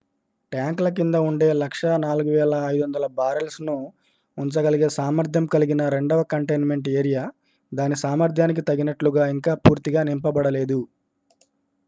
ట్యాంక్ల కింద ఉండే 104,500 బారెల్స్ను ఉంచగలిగే సామర్థ్యం కలిగిన రెండవ కంటైన్మెంట్ ఏరియా దాని సామర్థ్యానికి తగినట్లుగా ఇంకా పూర్తిగా నింపబడలేదు